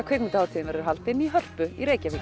kvikmyndahátíðin verður haldin í Hörpu í Reykjavík